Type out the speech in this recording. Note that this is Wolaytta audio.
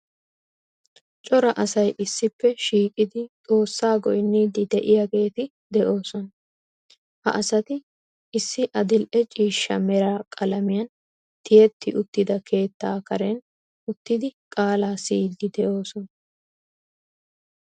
Cora asay issippe shiiqidi Xoossaa goynniiddi de'iyageeti de'oosona. Ha asati issi adil"e ciishsha mera qalamiyan tiyetti uttida keettaa karen uttidi qaalaa siyiiddi de'oosona.